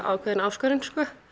ákveðin áskorun